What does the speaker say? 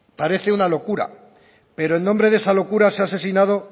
parece una locura pero en nombre de esa locura se ha asesinado